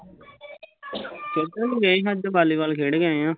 ਖੇਡਣ ਈ ਗਏ ਸੀ ਅੱਜ ਬਾਲੀਵਾਲ ਖੇਡ ਕੇ ਆਏ ਆ